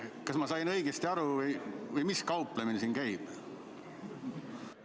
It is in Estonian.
Kas ma sain õigesti aru või mis kauplemine siin käib?